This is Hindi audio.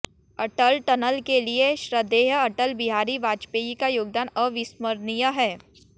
अटल टनल के लिए श्रधेय अटल बिहारी वाजपेयी का योगदान अविस्मरणीय है